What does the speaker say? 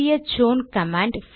CH own command